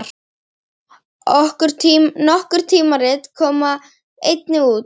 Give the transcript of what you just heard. Nokkur tímarit koma einnig út.